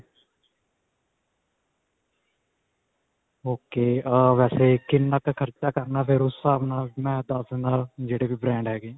ok. ਅਅ ਵੈਸੇ ਕਿੰਨਾ ਕ ਖਰਚਾ ਕਰਨਾ ਫਿਰ ਉਸ ਹਿਸਾਬ ਨਾਲ. ਮੈਂ ਦਸ ਦਿੰਦਾ, ਜਿਹੜੇ ਵੀ brand ਹੈਗੇ.